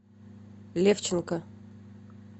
левченко